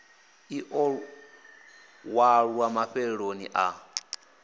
ḽi ḓo ṅwalwa mafheloni a